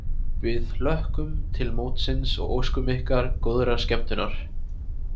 Við hlökkum til mótsins og óskum ykkur góðrar skemmtunar!